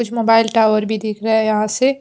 कुछ mobile tower भी दिख रहे यहां से--